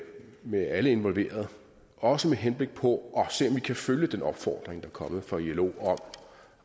med alle involverede også med henblik på at vi kan følge den opfordring der er kommet fra ilo